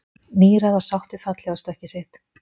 Níræð og sátt við fallhlífarstökkið sitt